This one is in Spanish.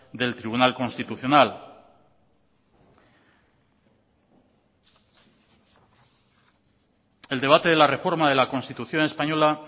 del tribunal constitucional el debate de la reforma de la constitución española